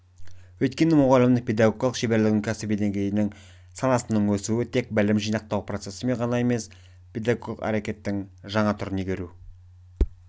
өйткені мұғалімнің педагогикалық шеберлігінің кәсіби деңгейі санасының өсуі-тек білім жинақтау процесі ғана емес педагогикалық әрекеттің жаңа түрін игеру